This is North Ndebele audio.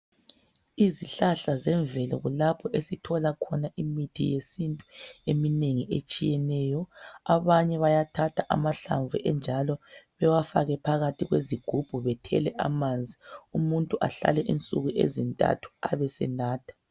Izihlahla zemvelo kulapho esithola khona imithi yesintu eminengi etshiyeneyo. Abanye bayathatha amahlamvu enjalo bewafake phakathi kwezigubhu bethele amanzi umuntu ahlale insuku ezintathu ebesenatha.